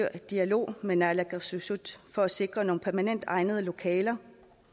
dialog med naalakkersuisut for at sikre nogle permanent egnede lokaler